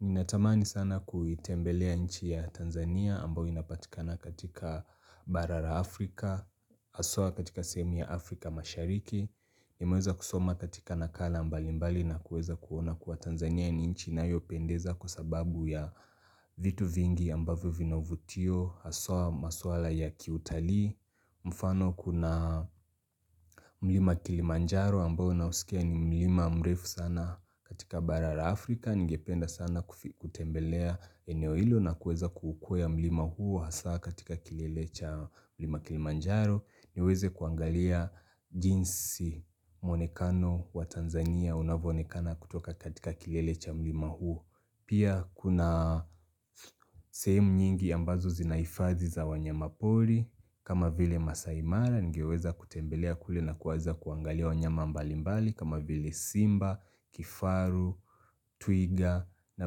Ninatamani sana kuitembelea inchi ya Tanzania ambao inapatikana katika bara ra Afrika, aswa katika sehemuibya Afrika mashariki, nimeweza kusoma katika nakala mbalimbali na kuweza kuona kuwa Tanzania ni nchi inayopendeza kwa sababu ya vitu vingi ambavyo vina uvutio, haswa maswala ya kiutalii, mfano kuna mlima kilimanjaro ambao nausikia ni mlima mrefu sana katika bara ra Afrika ningependa sana kutembelea eneo hilo na kueza kuukwea mlima huu Hasa katika kilele cha mlima Kilimanjaro niweze kuangalia jinsi mwonekano wa Tanzania Unavoonekana kutoka katika kilele cha mlima huu. Pia kuna sehemu nyingi ambazo zina ifadhi za wanyama poli kama vile Masai Mara ningeweza kutembelea kule na kuweza kuangalia wanyama mbali mbali kama vile Simba, Kifaru, Twiga na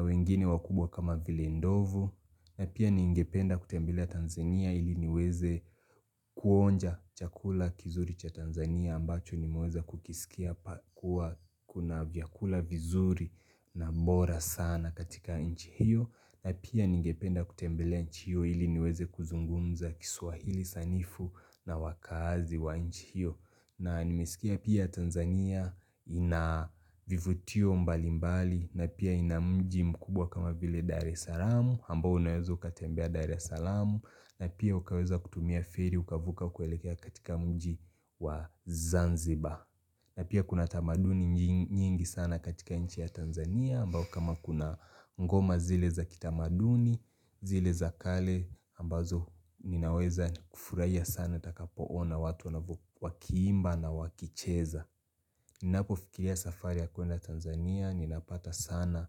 wengine wakubwa kama vile Ndovu na pia ningependa kutembelea Tanzania ili niweze kuonja chakula kizuri cha Tanzania ambacho nimeweza kukisikia kuna vyakula vizuri na mbora sana katika nchi hiyo na pia ningependa kutembelea nchi hiyo ili niweze kuzungumza kiswahili sanifu na wakaazi wa nchi hiyo na nimesikia pia Tanzania ina vivutio mbali mbali na pia ina mji mkubwa kama vile Dar es Salaamu ambao unaweza ukatembea Dar es Salaamu na pia ukaweza kutumia feri ukavuka kuelekea katika mji wa Zanzibar na pia kuna tamaduni nyingi sana katika nchi ya Tanzania ambao kama kuna ngoma zile za kitamaduni zile za kale ambazo ninaweza kufurahia sana nitakapoona watu wanavo wakiimba na wakicheza Ninapofikiria safari ya kuenda Tanzania ninapata sana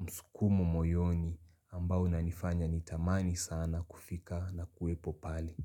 msukumo moyoni ambao unanifanya nitamani sana kufika na kuwepo pali.